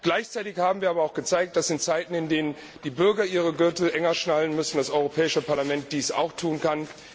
Gleichzeitig haben wir aber auch gezeigt, dass in Zeiten, in denen die Bürger den Gürtel enger schnallen müssen, das Europäische Parlament dies auch tun kann.